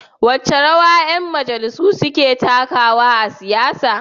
Wace rawa ƴan majalisa suka takawa a siyasa?